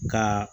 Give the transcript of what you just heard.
Ka